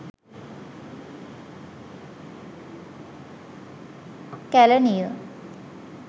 kelaniya